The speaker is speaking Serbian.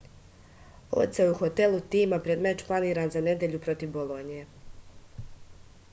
odseo je u hotelu tima pred meč planiran za nedelju protiv bolonje